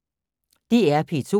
DR P2